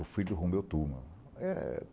O filho Romeu Tuma. Eh